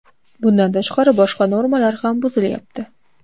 Bundan tashqari, boshqa normalar ham buzilayapti.